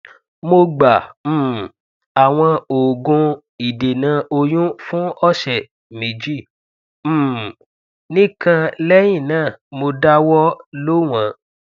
mo gba um awọn oogun idena oyun fun ọsẹ meji um nikan lẹhinna mo dawọ lo wọn